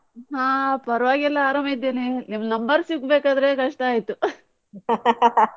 ಹ ಪರ್ವಾಗಿಲ್ಲ ಆರಾಮ್ ಇದ್ದೇನೆ, ನಿಮ್ number ಸಿಗ್ಬೇಕಾದ್ರೆ ಕಷ್ಟ ಆಯ್ತು .